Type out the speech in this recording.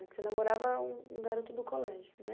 Porque você namorava um garoto do colégio, né?